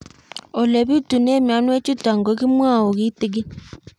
Ole pitune mionwek chutok ko kimwau kitig'ín